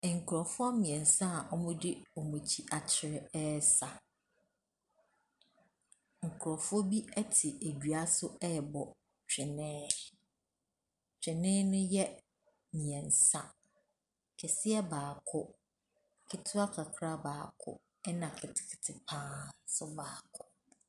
Nkurɔfoɔ mmiɛnsa a ɔmo de wɔn akyiri akyerɛ ɛsa. Nkurofoɔ bi ɛte dua ase ɛbɔ twene. Twene ne yɛ mmiɛnsa. Kɛseɛ baako, ketewa kakra baako, ɛna ketekete paa nso baako.